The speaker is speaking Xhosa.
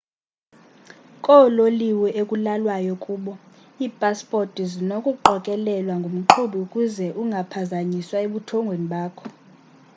koololiwe ekulalwayo kubo iipasipoti zinokuqokelelwa ngumqhubi ukuze ungaphazanyiswa ebuthongweni bakho